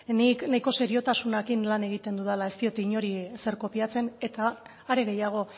nik nahiko seriotasunarekin lan egiten dudala ez diot inori ezer kopiatzen eta are gehiago